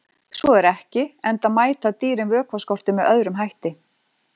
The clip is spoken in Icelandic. Svo er ekki, enda mæta dýrin vökvaskorti með öðrum hætti.